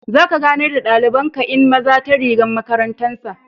Za ka ganar da dalibain kai'n maza ta rigan makarantan sa.